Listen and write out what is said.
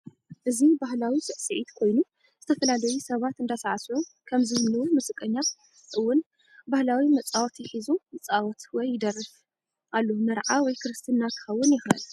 እዚ ባህላዊ ስስዒት ኮይኑ ዝተፈላለዪ ሳባት እዳሳዕስዑ ከም ዝንህው መዝቀኛ እውን ባህላዊ መፃውቲ ሕዙ ይፃወት ወይ ይደርፊ አሎ ምርዓ፣ ወይ ክርስትና ክከውን ይክእል